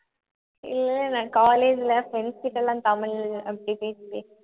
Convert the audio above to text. இல்ல நான் college ல friends கிட்ட எல்லாம் தமிழ் அப்படி பேசி பேசி